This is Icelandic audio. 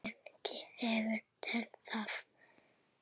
Hvernig hefur Stella það?